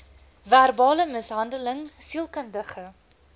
verbale mishandeling sielkundige